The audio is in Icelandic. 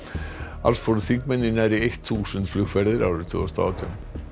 alls fóru þingmenn í nærri þúsund flugferðir árið tvö þúsund og átján